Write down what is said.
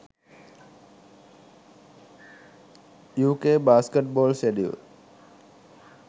uk basketball schedule